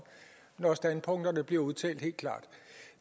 når standpunkterne bliver udtalt helt klart